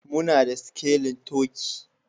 Muna da sikelin turkey